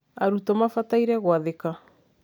arũtũo mabataire gwathĩka